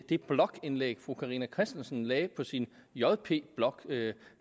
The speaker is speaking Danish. det blogindlæg som fru carina christensen lagde på sin jp blog jeg